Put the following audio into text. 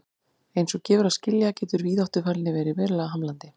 Eins og gefur að skilja getur víðáttufælni verið verulega hamlandi.